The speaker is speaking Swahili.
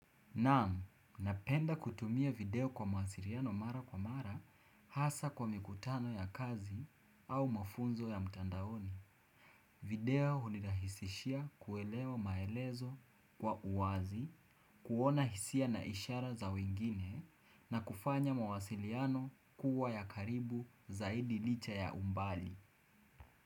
Naam, napenda kutumia video kwa mawasiriano mara kwa mara hasa kwa mikutano ya kazi au mafunzo ya mtandaoni. Video hunilahisishia kuelewa maelezo kwa uwazi, kuona hisia na ishara za wengine na kufanya mawasiliano kuwa ya karibu zaidi licha ya umbali.